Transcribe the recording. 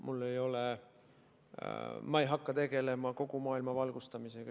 Ma ei hakka üksinda tegelema kogu maailma valgustamisega.